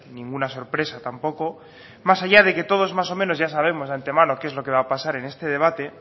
ninguna sorpresa tampoco más allá de que todos más o menos ya sabemos de antemano qué es lo que va a pasar en este debate